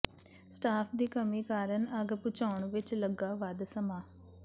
staff ਦੀ ਕਮੀ ਕਾਰਨ ਅੱਗ ਬੁਝਾਉਣ ਵਿਚ ਲੱਗਾ ਵੱਧ ਸਮਾਂ